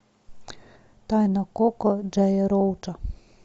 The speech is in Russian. тайна коко джея роуча